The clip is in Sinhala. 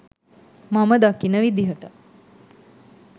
මම දකින විදියට